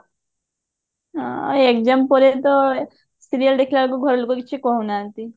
ହଁ exam ପରେ ତ serial ଦେଖିଲ ବେଳକୁ ଘର ଲୋକ କିଛି କହୁନାହାନ୍ତି